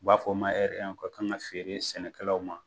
U b'a fɔ o ma o ka kan ka feere sɛnɛkɛlaw ma